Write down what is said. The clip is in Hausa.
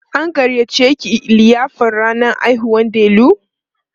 an gayyace ki liyafar rannan haihuwar Delu?